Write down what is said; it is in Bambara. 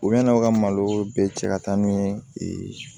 U bɛna u ka malo bɛɛ cɛ ka taa n'u ye